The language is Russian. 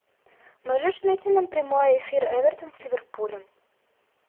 можешь найти нам прямой эфир эвертон с ливерпулем